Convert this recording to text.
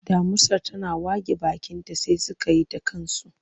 Damusar tana wage bakinta sai suka yi ta kansu.